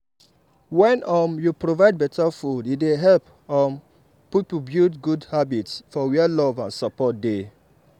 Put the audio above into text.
wen um you provide better food e dey help um people build good habits for where love and support dey.